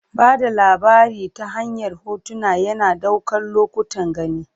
Ba da labari ta hanyar hotuna, yana ɗaukar lokutan gani.